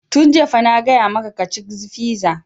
Tun jiya fa na gaya maka ka ci fiza!